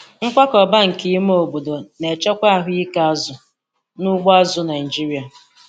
Nkwakọba nke ime obodo na-echekwa ahụike azụ n'ugbo azụ̀ Naịjiria.